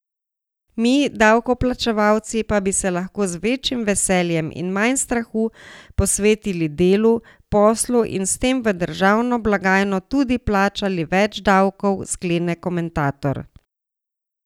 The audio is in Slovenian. Mi, davkoplačevalci, pa bi se lahko z večjim veseljem in manj strahu posvetili delu, poslu in s tem v državno blagajno tudi plačali več davkov, sklene komentator.